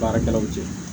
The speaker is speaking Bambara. Baarakɛlaw cɛ